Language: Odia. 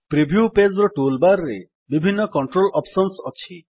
ପ୍ରିଭ୍ୟୁ ପେଜ୍ ର ଟୁଲ୍ ବାର୍ ରେ ବିଭିନ୍ନ କଣ୍ଟ୍ରୋଲ୍ ଅପ୍ସନ୍ସ ଅଛି